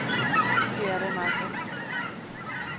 Sierra Madre